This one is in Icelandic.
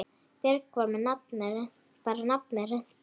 Björg bar nafn með rentu.